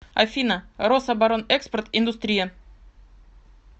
афина рособоронэкспорт индустрия